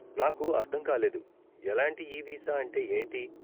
నాకు అర్ధం కాలేదు 'ఎలాంటి ఈ వీసా' అంటే ఏంటి?